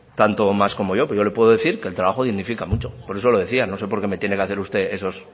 tanto o más como yo pero yo le puedo decir que el trabajo dignifica mucho por eso lo decía no sé porque me tiene que hacer usted esos